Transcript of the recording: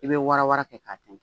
I bɛ wara wara kɛ k'a tɛn